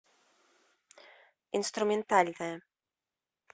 инструментальная